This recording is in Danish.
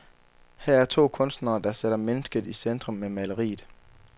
Her er to kunstnere, der sætter mennesket i centrum med maleriet.